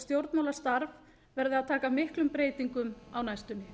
stjórnmálastarf verður að taka miklum breytingum á næstunni